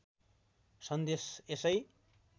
सन्देश यसै